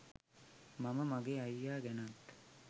මම මගේ අයියා ගැනත්